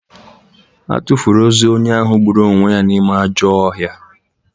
A tụfuru ozu onye ahụ gburu onwe ya n’ime ajọọ ọhịa.